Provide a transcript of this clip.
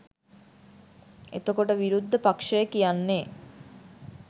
එතකොට විරුද්ධ පක්ෂය කියන්නේ